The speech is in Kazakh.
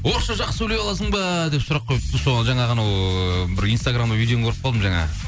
орысша жақсы сөйлей аласың ба деп сұрақ қойыпты соған жаңа ғана ыыы бір инстаграмда видеоны көріп қалдым жаңа